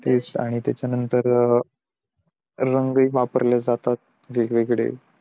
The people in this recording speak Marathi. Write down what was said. तेच आणि त्याच्या नंतर रंग हि वापरले जातात वेग वेगळे